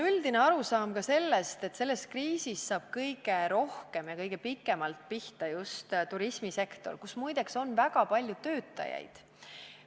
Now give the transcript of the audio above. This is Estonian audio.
Üldiselt saadakse aru ka sellest, et praeguses kriisis saab kõige rohkem ja kõige pikemalt pihta just turismisektor, kus muide on väga palju töötajaid.